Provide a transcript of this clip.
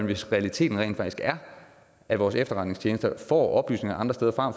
hvis realiteten rent faktisk er at vores efterretningstjenester får oplysninger andre steder fra